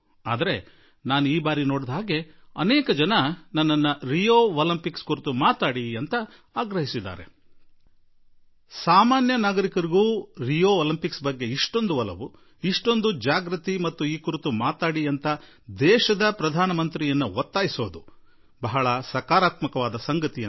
ಆದರೆ ಈ ಸಲ ಬಹುತೇಕ ಪ್ರತಿಯೊಬ್ಬರೂ ರಿಯೋ ಒಲಿಂಪಿಕ್ಸ್ ಕುರಿತು ಇಷ್ಟು ಆಸಕ್ತಿ ಇಷ್ಟು ಜಾಗೃತಿ ಮತ್ತು ದೇಶದ ಪ್ರಧಾನಮಂತ್ರಿ ಮೇಲೆ ಈ ಬಗ್ಗೆ ಸ್ವಲ್ಪ ಮಾತನಾಡಿ ಎನ್ನುವ ಒತ್ತಾಸೆಯನ್ನು ನಾನು ಬಹಳ ಸಕಾರಾತ್ಮಕವಾಗಿ ನೋಡುತ್ತಿರುವೆ